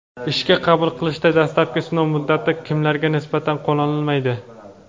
Ishga qabul qilishda dastlabki sinov muddati kimlarga nisbatan qo‘llanilmaydi?.